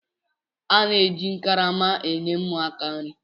A na-eji karama na-enye ụmụaka nri.